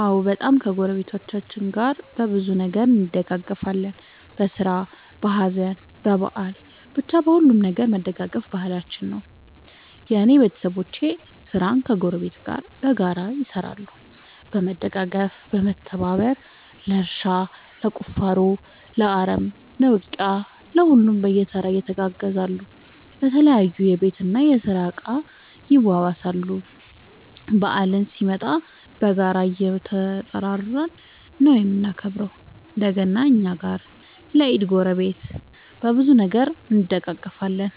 አዎ በጣም ከ ጎረቤቶቻችን ጋር በብዙ ነገር እንደጋገፋለን በስራ በሀዘን በበአል በቻ በሁሉም ነገር መደጋገፍ ባህላችን ነው። የእኔ ቤተሰቦቼ ስራን ከ ጎረቤት ጋር በጋራ ይሰራሉ በመደጋገፍ በመተባበር ለእርሻ ለቁፋሮ ለአረም ለ ውቂያ ለሁሉም በየተራ ይተጋገዛሉ የተለያዩ የቤት እና የስራ እቃ ይዋዋሳሉ። በአልም ሲመጣ በጋራ እየተጠራራን ነው የምናከብረው ለ ገና እኛ ጋ ለ ኢድ ጎረቤት። በብዙ ነገር እንደጋገፋለን።